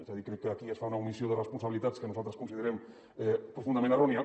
és a dir crec que aquí es fa una omissió de responsabilitats que nosaltres considerem profundament errònia